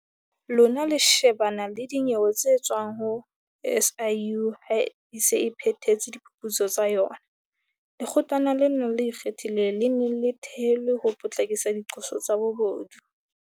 Lona le shebana le dinyewe tse tswang ho SIU ha e se e phethetse diphuputso tsa yona. Lekgotlana lena le Ikgethileng, le ne le thehelwe ho potlakisa diqoso tsa bobodu.